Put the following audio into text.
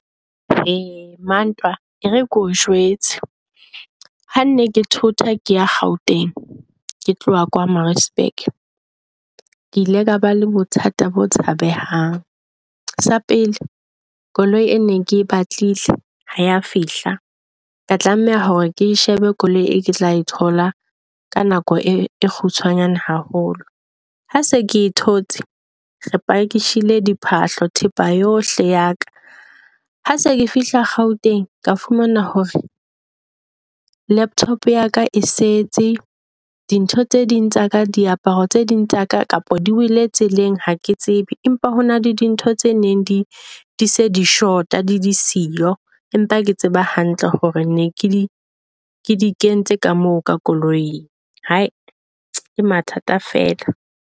Ei mantwa e re keo jwetse ha nne ke thota ke ya Gauteng, ke tloha kwa Maritzburg, ke ile ka ba le bothata bo tshabehang. Sa pele koloi e ne ke batlile ha ya fihla, ka tlameha hore ke shebe koloi e o ke tla e thola ka nako e kgutshwanyane haholo. Ha se ke thotse re pakishile di phahlo thepa yohle ya ka. Ha se ke fihla Gauteng ka fumana hore laptop ya ka e setse di ntho tse ding tsa ka diaparo tse ding tsa ka kapa di wele tseleng ha ke tsebe. Empa ho na le di ntho tse neng di di se di shota di di siyo, Empa ke tseba hantle hore ne ke di di kentse ka moo ka koloing. Hai ke mathata fela.